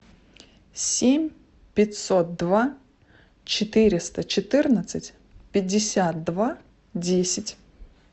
семь пятьсот два четыреста четырнадцать пятьдесят два десять